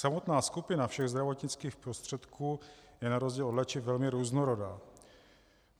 Samotná skupina všech zdravotnických prostředků je na rozdíl od léčiv velmi různorodá.